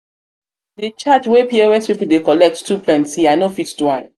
de charge wey pos people dey collect too plenty i no fit do am.